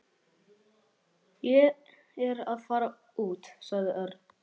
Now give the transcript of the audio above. Ég er að fara út sagði Örn.